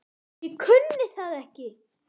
Ég kunni það ekki.